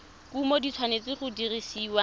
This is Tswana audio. kumo di tshwanetse go dirisiwa